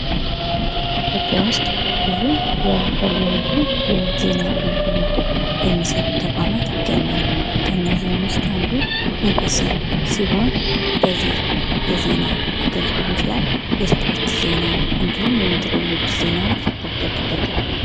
ኢትዮጵያ ዉስጥ ብዙ የተለያዩ የዜና አገልግሎት የሚሰጡ ተቋማት ይገኛሉ:: ከነዚህም ዉስጥ አንዱ ኢቢሲ ሲሆን በዚህ የዜና አገልግሎት ላይ የስፖርት ዜና እንዲሁም የሜትሮሎጂ ዜናዎች ይካተቱበታል::